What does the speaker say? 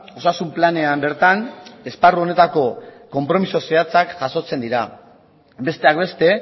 osasun planean bertan esparru honetako konpromiso zehatzak jasotzen dira besteak beste